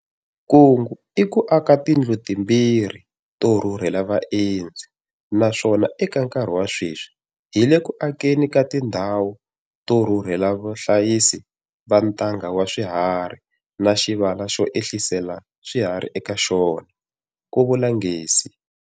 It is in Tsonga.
Kungu i ku aka tindlu to rhurhela vaendzi timbirhi, na swona eka nkarhi wa sweswi hi le ku akeni ka tindhawu to rhurhela vahlayisi va ntanga wa swiharhi na xivala xo ehlisela swiharhi eka xona, ku vula Ngesi.